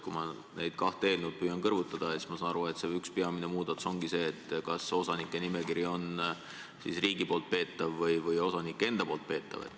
Kui ma neid kahte eelnõu püüan kõrvutada, siis ma saan aru, et üks peamisi muudatusi ongi see, kas osanike nimekiri on riigi poolt peetav või osanike enda poolt peetav.